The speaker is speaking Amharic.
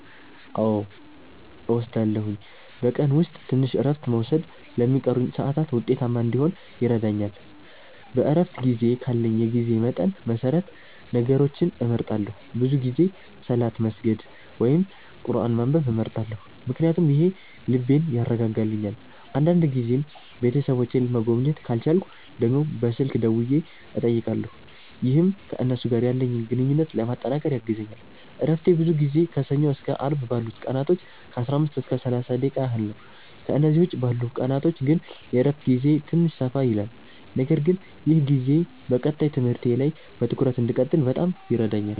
አዎ እወስዳለሁኝ፤ በቀን ውስጥ ትንሽ እረፍት መውሰድ ለሚቀሩኝ ሰዓታት ውጤታማ እንዲሆን ይረዳኛል። በእረፍት ጊዜዬ ካለኝ የጊዜ መጠን መሰረት ነገሮችን እመርጣለሁ፤ ብዙ ጊዜ ሰላት መስገድ ወይም ቁርአን ማንበብ እመርጣለሁ ምክንያቱም ይህ ልቤን ያረጋጋልኛል። አንዳንድ ጊዜም ቤተሰቦቼን መጎብኘት ካልቻልኩ ደግሞ በስልክ ደውዬ እጠይቃለሁ፣ ይህም ከእነሱ ጋር ያለኝን ግንኙነት ለማጠናከር ያግዘኛል። እረፍቴ ብዙ ጊዜ ከሰኞ እስከ አርብ ባሉት ቀናቶች ከ15 እስከ 30 ደቂቃ ያህል ነው፤ ከእነዚህ ውጭ ባሉት ቀናቶች ግን የእረፍት ጊዜዬ ትንሽ ሰፋ ይላል። ነገር ግን ይህ ጊዜ በቀጣይ ትምህርቴ ላይ በትኩረት እንድቀጥል በጣም ይረዳኛል።